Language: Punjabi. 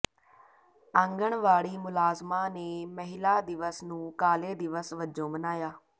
ਆਂਗਣਵਾੜੀ ਮੁਲਾਜ਼ਮਾਂ ਨੇ ਮਹਿਲਾ ਦਿਵਸ ਨੂੰ ਕਾਲੇ ਦਿਵਸ ਵਜੋਂ ਮਨਾਇਆ